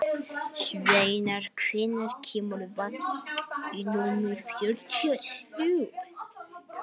Snævarr, hvenær kemur vagn númer fjörutíu og þrjú?